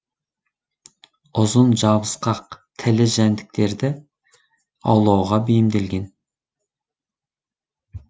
ұзын жабысқақ тілі жәндіктерді аулауға бейімделген